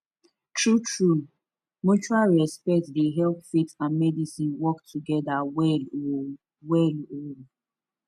truetrue mutual respect dey help faith and medicine work together well um well um